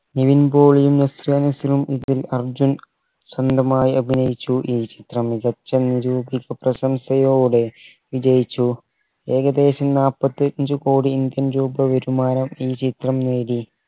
നിവിൻ പോളിയും നസ്രിയ നസീമും ഇതിൽ അർജുൻ സ്വന്തമായ് അഭിനയിച്ചു ഈ ചിത്രം മികച്ച ഒരു പ്രശംസയോടെ വിജയിച്ചു ഏകദേശം നാപ്പത്തഞ്ചു കോടി indian രൂപ വരുമാനം ഈ ചിത്രം നേടി